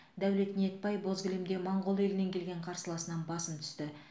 дәулет ниетбай боз кілемде моңғол елінен келген қарсыласынан басым түсті